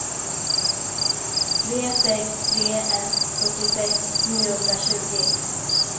tre sex tre ett fyrtiosex niohundratjugo